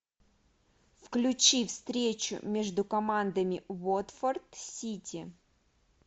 включи встречу между командами уотфорд сити